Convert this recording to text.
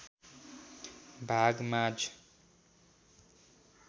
भाग माँझ